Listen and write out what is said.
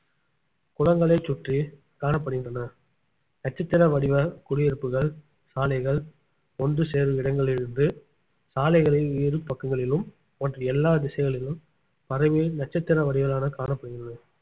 குளங்களை சுற்றி காணப்படுகின்றன நட்சத்திர வடிவ குடியிருப்புகள் சாலைகள் ஒன்று சேரும் இடங்களிலிருந்து சாலைகளில் இரு பக்கங்களிலும் மற்றும் எல்லா திசைகளிலும் பரவி நட்சத்திர வடிவிலான காணப்படுகிறது